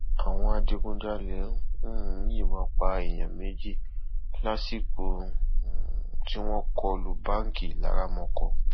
àwọn adigunjalè um yìnbọn pa èèyàn méjì lásìkò um tí wọn kọ lu báńkì laramọkọ